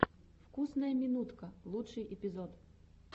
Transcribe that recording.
вкусная минутка лучший эпизод